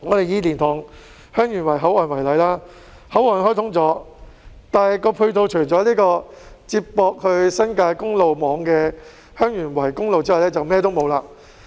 以蓮塘/香園圍口岸為例，雖然口岸開通了，但配套方面除了接駁往新界公路網的香園圍公路外，便甚麼也沒有。